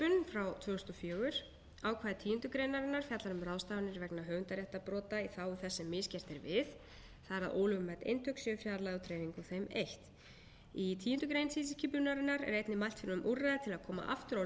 frá tvö þúsund og fjögur ákvæði tíundu grein fjallar um ráðstafanir vegna höfundaréttarbrota í þágu þess sem misgert er við það er að ólögmæt eintök séu fjarlægð úr dreifingu og að þeim eytt í tíundu greinar tilskipunarinnar er einnig mælt fyrir um úrræði til að koma aftur á lögmætu